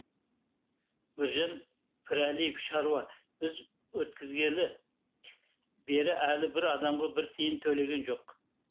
біржан пірәлиев шаруа біз өткізгелі бері әлі бір адамға бір тиын төлеген жоқ